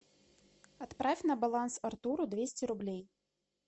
отправь на баланс артуру двести рублей